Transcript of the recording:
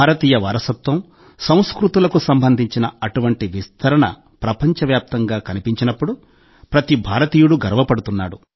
భారతీయ వారసత్వం సంస్కృతులకు సంబంధించిన అటువంటి విస్తరణ ప్రపంచవ్యాప్తంగా కనిపించినప్పుడు ప్రతి భారతీయుడూ గర్వపడుతున్నాడు